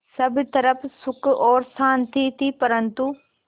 सब तरफ़ सुख और शांति थी परन्तु